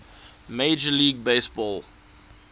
major league baseball